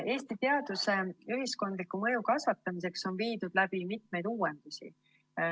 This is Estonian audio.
Eesti teaduse ühiskondliku mõju kasvatamiseks on viidud läbi mitmeid uuendusi.